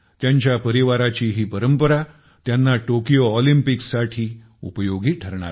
त्यांच्या परिवाराची ही परंपरा त्यांना टोकियो ऑलिम्पिकसाठी उपयोगी होणार आहे